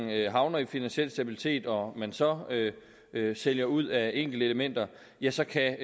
havner i finansiel stabilitet og man så sælger ud af enkelte elementer ja så kan